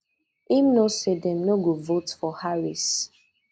im know say dem no go vote for harris